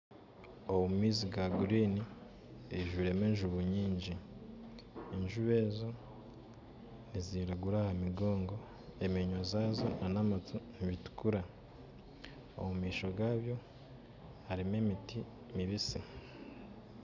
Omumaizi ga kinyatsi harimu enjubu nyingi, enjubu ezo niziragura ahamigongo enyindo zaazo na amatu nibitukura, omumaisho gaabyo harimu emiti mibitsi